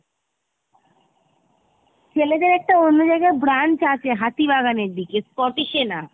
ছেলেদের একটা অন্য জায়গায় branch আছে হাতি বাগানের দিকে Scottish এ না।